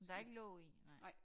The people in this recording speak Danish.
Der ikke låg i nej